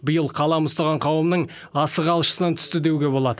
биыл қалам ұстаған қауымның асығы алшысынан түсті деуге болады